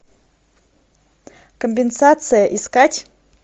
компенсация искать